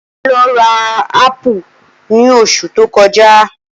Ola lọ ra ápù ní osù tókojá.